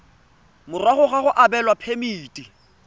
morago ga go abelwa phemiti